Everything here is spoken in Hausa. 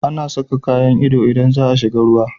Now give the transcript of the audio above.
Ana Saka kayan iyo idan zaa shiga ruwa